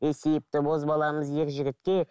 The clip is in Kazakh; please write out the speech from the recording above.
есейіпті бозбаламыз ер жігітке